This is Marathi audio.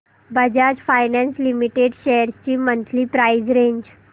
बजाज फायनान्स लिमिटेड शेअर्स ची मंथली प्राइस रेंज